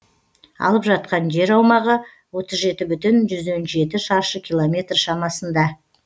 алып жатқан жер аумағы отыз жеті бүтін жүзден жеті шаршы километр шамасында